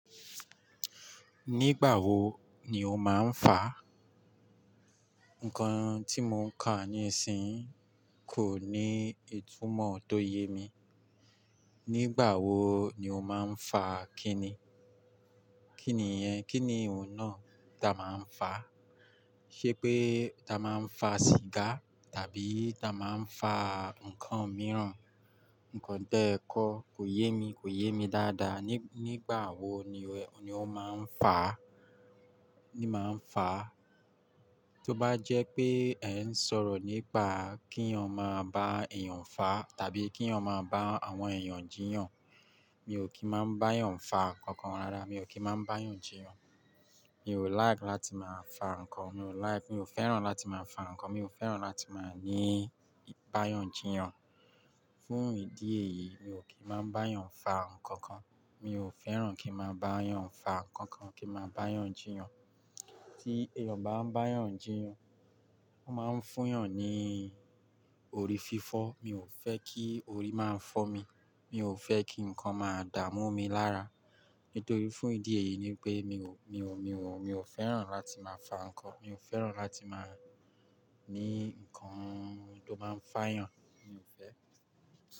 Nígbà wo ni o máa ń fa? Nǹkan tí mo ń kà níìsín kò ní ìtumọ̀ tó yé mi. Nígbà wo ni o máa ń fa kíni? Kí ni yẹ́, kí ni ohun náà tí a máa ń fa? Ṣé pé ta máa ń fa sìgá tàbí ta máa ń fa nǹkan mìíràn? Nǹkan tẹ́ẹ́ kọ́ kò yé mi, kò yé mi dáadáa. Nígbà wo ni o máa ń fa? Tí ó bá jẹ́ pé ẹ ń sọ̀rọ̀ nípa kínyàn máa bá èèyàn fa tàbí kínyàn máa bá àwọn èèyàn jiyàn, mi ò kí máa bá èèyàn fa kankan rárá, mi ò kí máa bá èèyàn jiyàn. Mi ò like láti máa fa nǹkan, mi ò like, mi ò fẹ́ràn láti máa fa nǹkan, mi ò fẹ́ràn láti máa báyàn jiyàn. Fún ìdí èyí mi ò kí máa bá èèyàn fa nǹkan kan, mi ò fẹ́ràn kí n máa bá èèyàn fa nǹkan kan kí n máa bá èèyàn jiyàn. Tí èèyàn bá ń bá èèyàn jiyàn, ó máa ń fún ìyàn ní orí fífọ́. Mi ò fẹ́ kí orí máa ń fọ́ mi, mi ò fẹ́ kí nǹkan máa dààmú mi lára. Nítorí fún ìdí èyí ni pé mi ò, mi ò, mi ò fẹ́ràn láti máa fa nǹkan, mi ò fẹ́ràn láti máa ní nǹkan tó máa ń fàyàn, mi ò fẹ́.